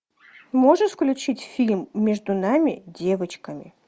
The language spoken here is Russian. можешь включить фильм между нами девочками